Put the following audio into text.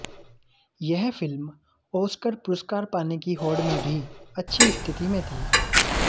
यह film Oscar पुरस्कार पाने की होड़ में भी अच्छी स्थिति में थी